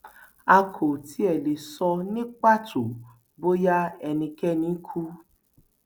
a kò tí ì lè sọ ní pàtó bóyá ẹnikẹni kú